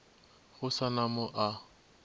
go sa na mo a